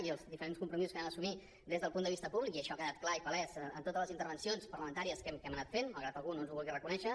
i els diferents compromisos que vam assumir des del punt de vista públic i això ha quedat clar i palès en totes les intervencions parlamentàries que hem anat fent malgrat que algú no ens ho vulgui reconèixer